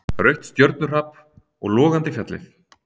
Rautt stjörnuhrap og logandi fjallið.